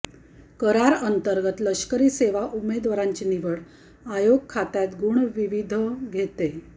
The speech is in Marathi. करार अंतर्गत लष्करी सेवा उमेदवारांची निवड आयोग खात्यात गुण विविध घेते